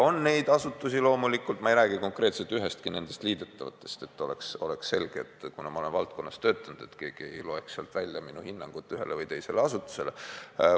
Ma ei räägi praegu konkreetselt ühestki liidetavast – loodan, et keegi ei loe siit välja minu hinnangut ühele või teisele asutusele.